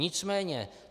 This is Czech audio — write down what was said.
Nicméně -